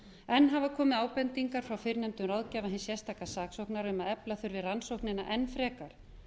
enn hafa komið ábendingar frá fyrrnefndum ráðgjafa hins sérstaka saksóknara um að efla þurfi rannsóknina enn frekar